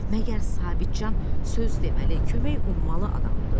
Məgər Sabitcan söz deməli, kömək ummalı adamdır?